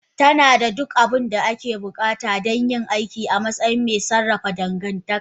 Tana da duk abin da ake buƙata don yin aiki a matsayin mai sarrafa dangantaka.